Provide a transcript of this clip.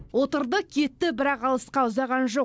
отырды кетті бірақ алысқа ұзаған жоқ